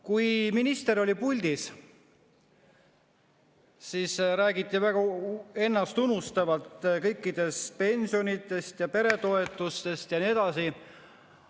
Kui minister oli puldis, siis räägiti väga ennastunustavalt pensionitest, peretoetustest ja nii edasi.